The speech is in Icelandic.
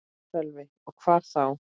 Sölvi: Og hvar þá?